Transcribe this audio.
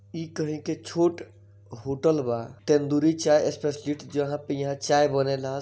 ई कही के छोट होटल बा तेंदूरी चाय स्पेलिस्ट जहां पे यहाँ चाय बनेला।